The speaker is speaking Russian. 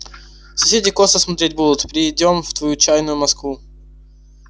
соседи косо смотреть будут перейдём в твою чайную москву